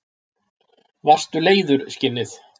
Varstu leiður, skinnið?